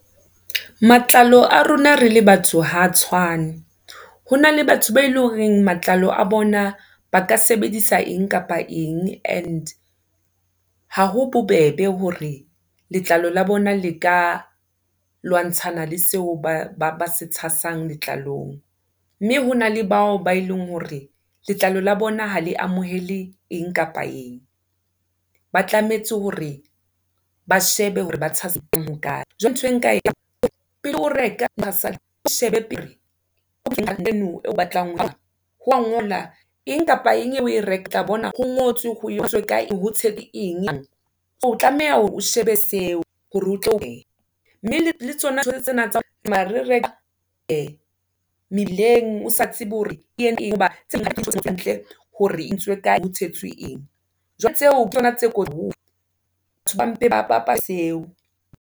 Matlalo a rona re le batho ha tshwane. Hona le batho be eleng horeng matlalo a bona, ba ka sebedisa eng kapa eng and, ha ho bobebe hore letlalo la bona le ka lwantshana le seo ba se tshasang letlalong. Mme hona le bao, bao eleng hore letlalo la bona ha le amohele eng kapa eng, ba tlametse hore ba shebe hore ba tshasa ho kae. Jwale ntho e nka epele o reka o shebe pele eno eo batlang ho ngola eng kapa eng eo oe rekile tla bona ho ngotswe ho emiswe ka eng Hotel eng? So o tlameha hore o shebe seo hore o tlo Mme le tsona tsena tsa o tsamaya re reka e mebileng o sa tsebe hore ente, hobane hantle, hore e entsoe ka ho tshetswe eng, jwale tseo ke tsona tse kotsi haholo. Batho ba mpe ba pata seo.